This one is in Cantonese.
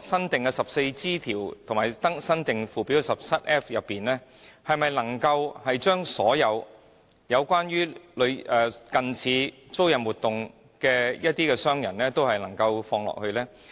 新訂的 14G 條及新訂附表 17F 條，是否能將所有關於近似租賃活動的商人均包括在內？